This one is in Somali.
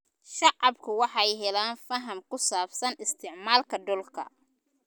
Shacabku waxay helaan faham ku saabsan isticmaalka dhulka.